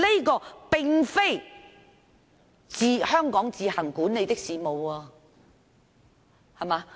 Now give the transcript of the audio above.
這並非香港自行管理的事務。